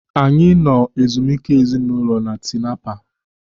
Anyị nọ ezumike ezinaụlọ na Tinapa.